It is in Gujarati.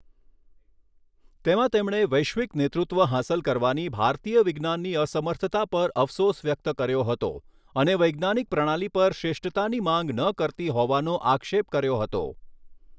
તેમાં તેમણે વૈશ્વિક નેતૃત્વ હાંસલ કરવાની ભારતીય વિજ્ઞાનની અસર્મથતા પર અફસોસ વ્યક્ત કર્યો હતો અને વૈજ્ઞાનિક પ્રણાલી પર શ્રેષ્ઠતાની માંગ ન કરતી હોવાનો આક્ષેપ કર્યો હતો.